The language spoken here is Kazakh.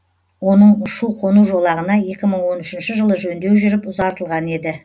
оның ұшу қону жолағына екі мың он үшінші жылы жөндеу жүріп ұзартылған еді